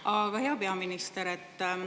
Aga, hea peaminister!